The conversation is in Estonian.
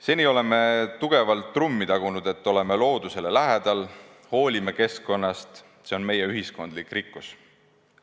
Seni oleme tugevalt trummi tagunud, et oleme loodusele lähedal, hoolime keskkonnast, see on meie ühiskondlik rikkus.